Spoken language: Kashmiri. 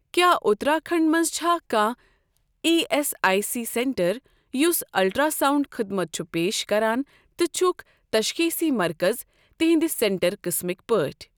کیٛاہ اُتراکھنٛڈ مَنٛز چھا کانٛہہ E S I C centre یُس الٹرٛاساوُنٛڈ خدمت چھُ پیش کران تہٕ چھُکھ تشخیٖصی مرکز تِہنٛدِ سینٹر قٕسمٕکۍ پٲٹھۍ؟